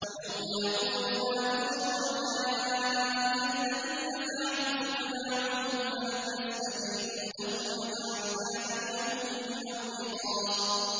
وَيَوْمَ يَقُولُ نَادُوا شُرَكَائِيَ الَّذِينَ زَعَمْتُمْ فَدَعَوْهُمْ فَلَمْ يَسْتَجِيبُوا لَهُمْ وَجَعَلْنَا بَيْنَهُم مَّوْبِقًا